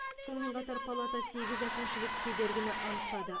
сонымен қатар палата сегіз әкімшілік кедергіні анықтады